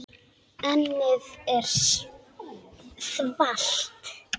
Ennið er þvalt.